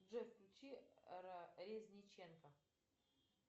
джой включи резниченко